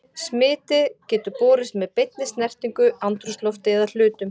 Smitið getur borist með beinni snertingu, andrúmslofti eða hlutum.